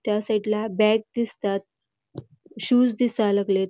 त्या साइडला बॅग दिसतात शूज दिसाय लागलेत.